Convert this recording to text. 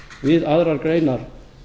við aðrar greinar